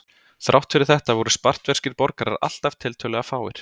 Þrátt fyrir þetta voru spartverskir borgarar alltaf tiltölulega fáir.